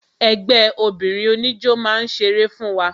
Ẹgbẹ́ obìnrin oníjó máa ṣeré fún wa